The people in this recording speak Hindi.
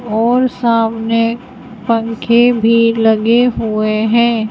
और सामने पंखे भी लगे हुए हैं।